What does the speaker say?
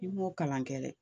I m'o kalan kɛ dɛ.